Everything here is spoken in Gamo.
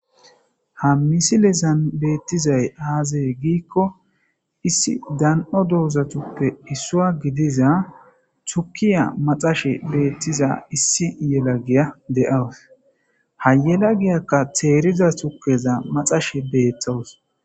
Ha misilezan beetizay aaze giiko issi dan77o doozatape issuwa gidiza tukke maxashe issi inda izaka teerida tukeza maxashe dawus.